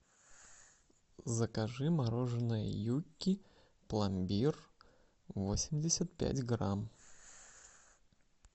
закажи мороженое юкки пломбир восемьдесят пять грамм